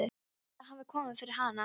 Hvað heldurðu að hafi komið fyrir hana?